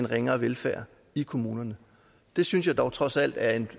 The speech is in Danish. ringere velfærd i kommunerne det synes jeg dog trods alt er en